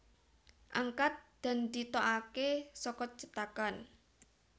Angkat dan ditokake saka cetakan